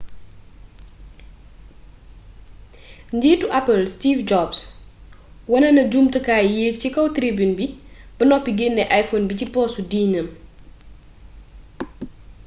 njiitu apple steve jobs wone na jumtukaay yéeg ci kaw tribune bi ba noppi genne iphone bi ci poosu jiinam